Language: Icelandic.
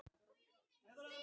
Listinn í heild